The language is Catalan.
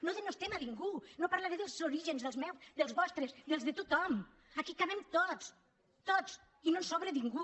no denostem a ningú no parlaré dels orígens dels meus dels vostres dels de tothom aquí hi cabem tots tots i no sobra ningú